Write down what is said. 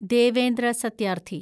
Devendra Satyarthi